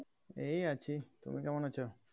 এই আছি তুমি কেমন আছো?